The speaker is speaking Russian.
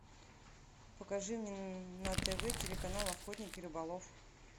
покажи мне на тв телеканал охотник и рыболов